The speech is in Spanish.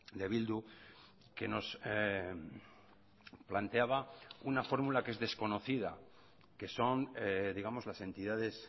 de bildu que nos planteaba una fórmula que es desconocida que son digamos las entidades